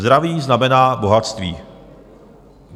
Zdraví znamená bohatství.